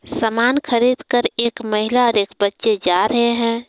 समान खरीद कर एक महिला और एक बच्चे जा रहे हैं।